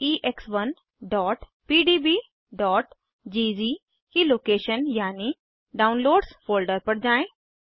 4ex1pdbज़ की लोकेशन यानि downloads folder पर जाएँ